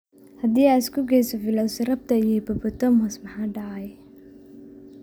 Haddii aad isku geyso velociraptor iyo hippopotamus maxaa dhacaya?